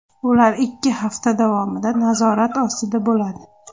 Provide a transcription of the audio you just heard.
Ular ikki hafta davomida nazorat ostida bo‘ladi.